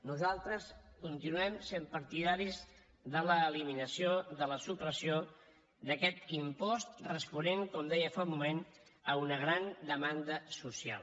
nosaltres continuem sent partidaris de l’eliminació de la supressió d’aquest impost responent com deia fa un moment a una gran demanda social